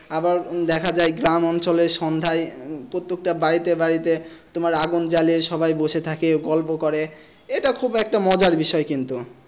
আবার দেখা যায় গ্রাম অঞ্চলে সন্ধ্যায় প্রত্যেকটা বাড়িতে বাড়িতে তোমার আগুন জ্বালিয়ে সবাই বসে থাকে গল্প করে এটা খুবই একটা মজার বিষয় কিন্তু।